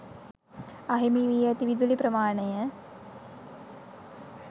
අහිමි වී ඇති විදුලි ප්‍රමාණය